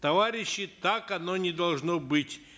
товарищи так оно не должно быть